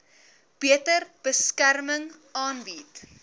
beter beskerming aanbied